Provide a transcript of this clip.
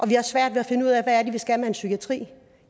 vi har svært ved at vi skal med en psykiatri